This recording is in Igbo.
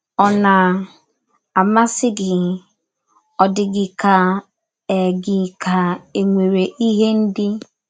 Ọ̀ na - amasị gị? Ọ̀ dị gị ka e gị ka e nwere ihe ndị